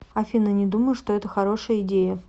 афина не думаю что это хорошая идея